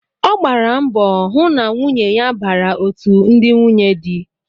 Ọ gbara mbọ hụ na nwunye ya bara otú ndị nwunye dị